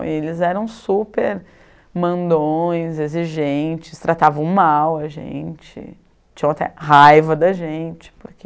E eles eram super mandões, exigentes, tratavam mal a gente, tinham até raiva da gente, porque...